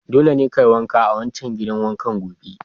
Dole ne kayi wanka a wancan gidan wanka gobe!